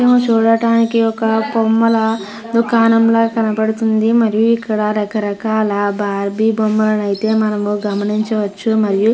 ఇదేమో చూడటానికి ఒక బొమ్మల దుకాణంల కనపడుతుంది. మరి ఇక్కడ రకరకాల బార్బీ బొమ్మలు అయితే మనము గమనించవచ్చు. మరియు --